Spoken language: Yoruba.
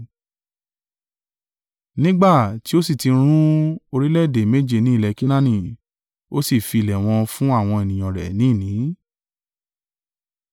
nígbà tí ó sì ti run orílẹ̀-èdè méje ni ilẹ̀ Kenaani, ó sì fi ilẹ̀ wọn fún àwọn ènìyàn rẹ̀ ni ìní.